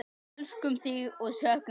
Elskum þig og söknum þín.